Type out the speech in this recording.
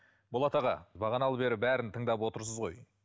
болат аға бағаналы бері бәрін тыңдап отырсыз ғой